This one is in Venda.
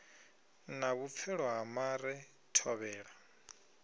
na vhupfelo ha mare thovhela